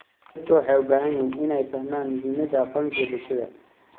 Dadku waxay u baahan yihiin inay fahmaan muhiimadda aqoonsiga bulshada.